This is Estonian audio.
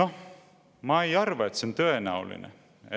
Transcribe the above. Noh, ma ei arva, et on tõenäoline,